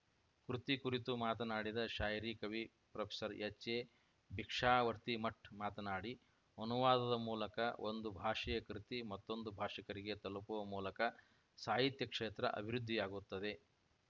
ಕೃತಿ ಕುರಿತು ಮಾತನಾಡಿದ ಶಾಯರಿ ಕವಿ ಪ್ರೊಫೆಸರ್ಎಚ್‌ಎಭಿಕ್ಷಾವರ್ತಿಮಠ್ ಮಾತನಾಡಿ ಅನುವಾದದ ಮೂಲಕ ಒಂದು ಭಾಷೆಯ ಕೃತಿ ಮತ್ತೊಂದು ಭಾಷಿಕರಿಗೆ ತಲುಪುವ ಮೂಲಕ ಸಾಹಿತ್ಯ ಕ್ಷೇತ್ರ ಅಭಿವೃದ್ಧಿಯಾಗುತ್ತದೆ